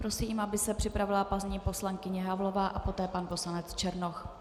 Prosím, aby se připravila paní poslankyně Havlová a poté pan poslanec Černoch.